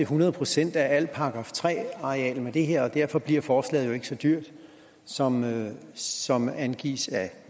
hundrede procent af alle § tre arealer med det her og derfor bliver forslaget jo ikke så dyrt som som angivet af